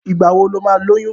Ìgbà wo lo máa lóyún?